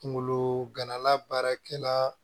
Kunkolo ganala baarakɛla